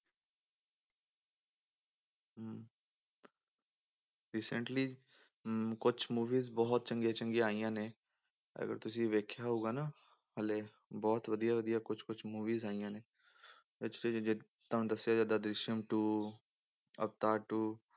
Recently ਅਮ ਕੁੱਝ movies ਬਹੁਤ ਚੰਗੀਆਂ ਚੰਗੀਆਂ ਆਈਆਂ ਨੇ ਅਗਰ ਤੁਸੀਂ ਵੇਖਿਆ ਹੋਊਗਾ ਨਾ ਹਾਲੇ ਬਹੁਤ ਵਧੀਆ ਵਧੀਆ ਕੁਛ ਕੁਛ movies ਆਈਆਂ ਨੇ ਤੁਹਾਨੂੰ ਦੱਸਿਆ ਜਿੱਦਾਂ ਦ੍ਰਿਸ਼ਅਮ two ਅਵਤਾਰ two